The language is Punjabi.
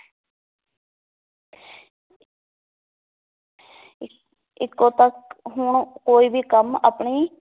ਇ ਇੱਕੋ ਹੁਣ ਕੋਈ ਵੀ ਕੰਮ ਆਪਣੀ